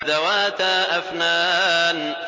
ذَوَاتَا أَفْنَانٍ